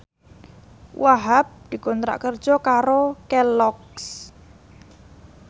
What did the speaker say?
Wahhab dikontrak kerja karo Kelloggs